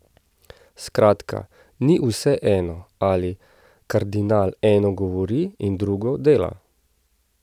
Skratka, ni vseeno, ali kardinal eno govori in drugo dela.